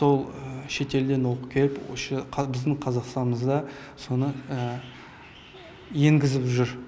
сол шетелден оқып келіп біздің қазақстанымызда соны енгізіп жүр